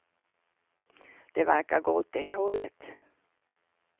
Det verkar gå åt det hållet.